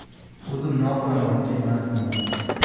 O‘zimni oqlamoqchi emasman.